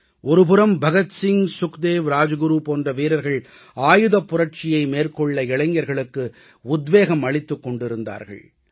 ஒரு புறம் பகத்சிங் சுக்தேவ் ராஜ்குரு போன்ற வீரர்கள் ஆயுதப் புரட்சியை மேற்கொள்ள இளைஞர்களுக்கு உத்வேகமளித்துக் கொண்டிருந்தார்கள்